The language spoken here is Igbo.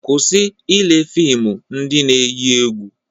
Kwụsị ile fịmụ ndị na-eyi egwu!